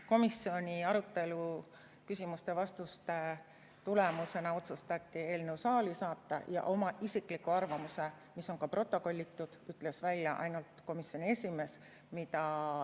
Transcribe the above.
Komisjoni arutelu, küsimuste ja vastuste tulemusena otsustati eelnõu saali saata ja oma isikliku arvamuse, mis on ka protokollitud, ütles välja ainult komisjoni esimees.